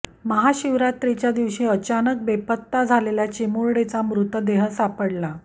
महाशिवरात्रीच्या दिवशी अचानक बेपत्ता झालेल्या चिमुरडीचा मृतदेह सापडला